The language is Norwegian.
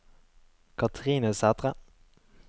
Kathrine Sætre